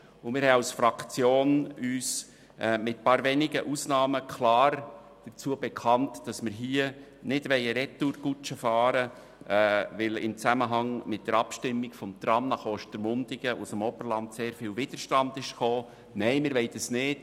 Mit einigen wenigen Ausnahmen haben wir uns als Fraktion klar dazu bekannt, hier keine Retourkutsche fahren zu wollen, obwohl im Zusammenhang mit der Abstimmung zum Tram Bern–Ostermundigen sehr viel Widerstand aus dem Oberland kam.